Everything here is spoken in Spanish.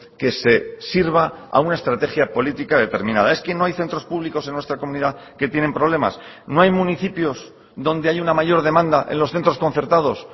que se sirva a una estrategia política determinada es que no hay centros públicos en nuestra comunidad que tienen problemas no hay municipios donde hay una mayor demanda en los centros concertados